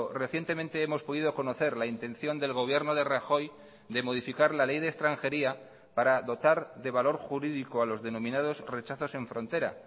recientemente hemos podido conocer la intención del gobierno de rajoy de modificar la ley de extranjería para dotar de valor jurídico a los denominados rechazos en frontera